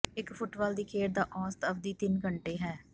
ਇੱਕ ਫੁੱਟਬਾਲ ਦੀ ਖੇਡ ਦਾ ਔਸਤ ਅਵਧੀ ਤਿੰਨ ਘੰਟੇ ਹੈ